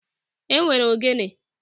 E nwere ogene